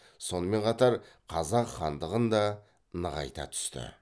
сонымен қатар қазақ хандығын да нығайта түсті